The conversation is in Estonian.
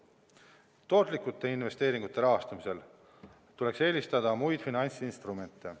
Tootlike investeeringute rahastamisel tuleks eelistada muid finantsinstrumente.